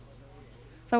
þá